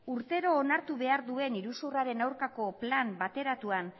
urtero onartu behar duen iruzurraren aurkako plan bateratuan